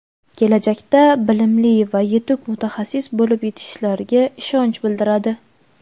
kelajakda bilimli va yetuk mutaxassis bo‘lib yetishishlariga ishonch bildiradi!.